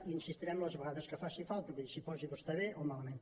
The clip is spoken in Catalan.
i hi insistirem les vegades que faci falta vull dir s’hi posi vostè bé o malament